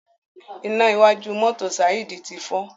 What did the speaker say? iná wájú mọ́tò Saheed tí fọ.